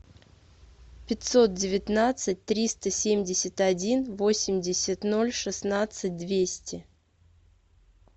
пятьсот девятнадцать триста семьдесят один восемьдесят ноль шестнадцать двести